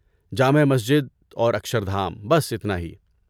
جامع مسجد اور اکشردھام، بس اتنا ہی۔